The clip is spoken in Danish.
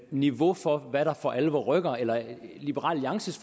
niveau for hvad der for alvor rykker eller liberal alliances